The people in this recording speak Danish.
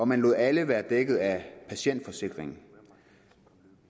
man lod alle være dækket af patientforsikringer